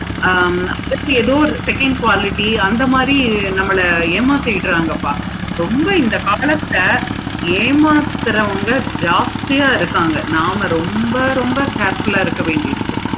ஆஹ் அம்பத்து ஏழு எதோ second quality அந்த மாதிரி நம்மள ஏமாத்திரங்கப்பா ரொம்ப இந்த ஏமாத்துறவங்க ஜாஸ்த்திய இருக்காங்க. ஆமா ரொம்ப ரொம்ப careful ஆஹ் இருக்க வேண்டி இருக்கு.